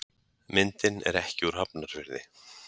Myndin er ekki úr Hafnarfirði.